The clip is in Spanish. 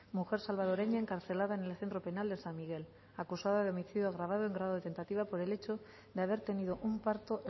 mujer salvadoreña encarcelada en el centro penal de san miguel acusada de homicidio agravado en grado de tentativa por el hecho de haber tenido un parto